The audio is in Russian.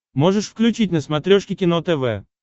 можешь включить на смотрешке кино тв